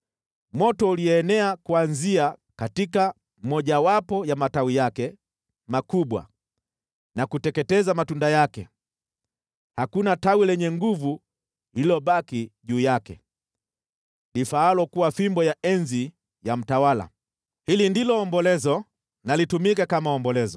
Moto ulienea kuanzia katika mmojawapo ya matawi yake makubwa na kuteketeza matunda yake. Hakuna tawi lenye nguvu lililobaki juu yake lifaalo kuwa fimbo ya enzi ya mtawala.’ Hili ndilo ombolezo, na litumike kama ombolezo.”